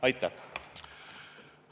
Aitäh!